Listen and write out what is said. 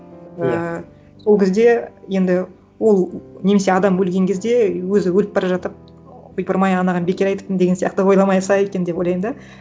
иә ііі сол кезде енді ол немесе адам өлген кезде өзі өліп бара жатып ойпырмай анаған бекер айтыппын деген сияқты ойламаса екен деп ойлаймын да